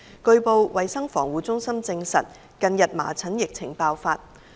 據報，衞生防護中心證實近日麻疹疫症爆發。